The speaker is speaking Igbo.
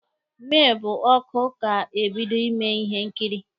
Mee, bụ oku ka ebido ime ihe nkiri